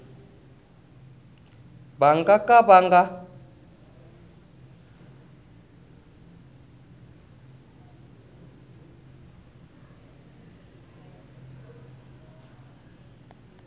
va nga ka va nga